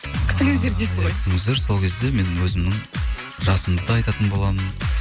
күтіңіздер дейсіз ғой иә күтіңіздер сол кезде мен өзімнің жасымды да айтатын боламын